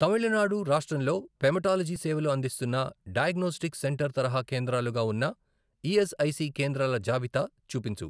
తమిళనాడు రాష్ట్రంలో హెమటాలజీ సేవలు అందిస్తున్న డయాగ్నోస్టిక్ సెంటర్ తరహా కేంద్రాలుగా ఉన్న ఈఎస్ఐసి కేంద్రాల జాబితా చూపించు